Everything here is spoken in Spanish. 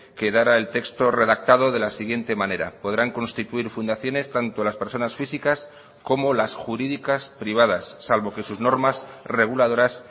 quedara el texto redactado de la siguiente manera podrán constituir fundaciones tanto las personas físicas como las jurídicas privadas salvo que sus normas reguladoras